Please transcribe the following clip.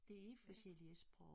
Det helt forskellige sprog